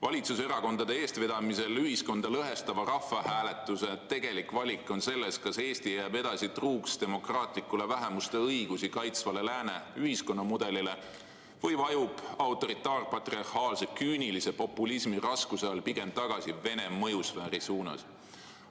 Valitsuserakondade eestvedamisel ühiskonda lõhestava rahvahääletuse tegelik valik on selles, kas Eesti jääb edasi truuks demokraatlikule, ka vähemuste õigusi kaitsvale lääne ühiskonnamudelile või vajub autoritaar-patriarhaalse küünilise populismi raskuse all pigem tagasi Vene mõjusfääri suunas.